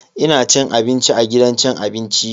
Ina cin abinci a gidan cin abinci.